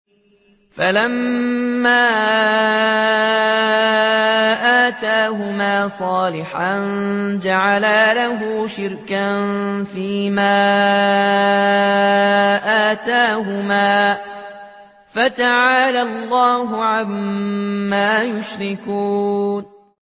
فَلَمَّا آتَاهُمَا صَالِحًا جَعَلَا لَهُ شُرَكَاءَ فِيمَا آتَاهُمَا ۚ فَتَعَالَى اللَّهُ عَمَّا يُشْرِكُونَ